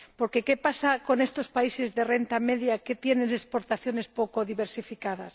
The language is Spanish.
Porque ¿qué pasa con estos países de renta media que tienen exportaciones poco diversificadas?